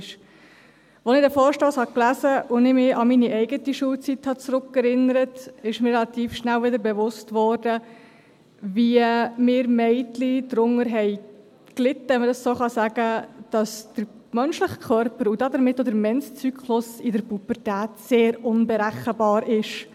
Als ich diesen Vorstoss las und mich an meine eigene Schulzeit zurückerinnerte, wurde mir relativ schnell wieder bewusst, wie wir Mädchen darunter litten, wenn man dem so sagen kann, dass der menschliche Körper, und damit auch der Menszyklus, in der Pubertät sehr unberechenbar ist.